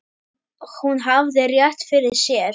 Hún hafði rétt fyrir sér.